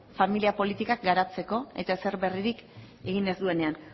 familia politikak garatzeko eta ezer berririk egin ez duenean